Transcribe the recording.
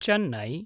Chennai